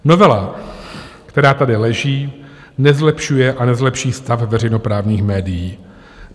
Novela, která tady leží, nezlepšuje a nezlepší stav veřejnoprávních médií.